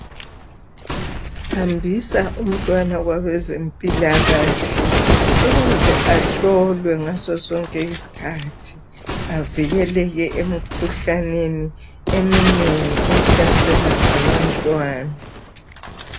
Hambisa umntwana kwabazempilakahle ukuze ahlolwe ngaso sonke isikhathi avikeleke emikhuhlaneni eminengi ehlasela abantwana